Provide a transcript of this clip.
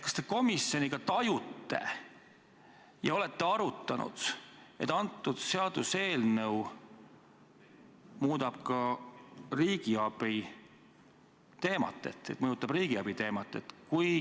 Kas te komisjoniga tajute ja olete arutanud, et seaduseelnõu muudab ka riigiabiteemat, mõjutab seda?